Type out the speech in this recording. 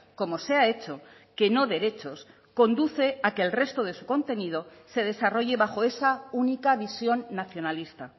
como se ha hecho que no derechos conduce a que el resto de su contenido se desarrolle bajo esa única visión nacionalista